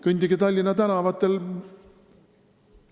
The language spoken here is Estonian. Kõndige Tallinna tänavatel!